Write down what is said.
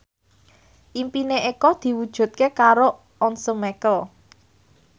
impine Eko diwujudke karo Once Mekel